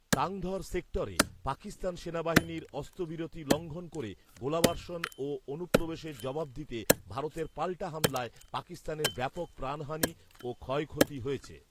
তাঙধর সেক্টরে পাকিস্তান সেনাবাহিনীর অস্ত্রবিরতি লঙ্ঘন করে গোলাবর্ষণ ও অনুপ্রবেশের জবাব দিতে ভারতের পাল্টা হামলায় পাকিস্তানের ব্যাপক প্রাণহানি ও ক্ষয়ক্ষতি হয়েছে